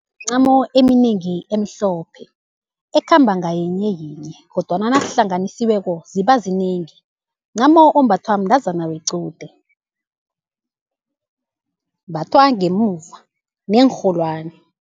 Mncamo eminengi emhlophe ekhamba ngayinye yinye, kodwana nazihlanganisiweko ziba zinengi. Mncamo ombathwa mntazana wequde, umbathwa ngemuva neenrholwani.